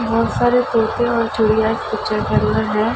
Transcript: बहोत सारे तोते और चिड़िया के अंदर है।